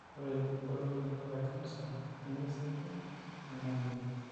ore ebulunoto ekansa nemesieku nemelelek.